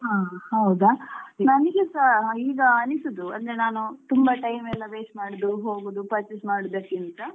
ಹಾ ಹೌದಾ ನನಿಗೆಸಾ ಈಗ ಅನಿಸುದು ಅಂದ್ರೆ ನಾನು ತುಂಬಾ time ಎಲ್ಲ waste ಮಾಡುದು ಹೋಗೋದು purchase ಮಾಡುವುದಕ್ಕಿಂತ,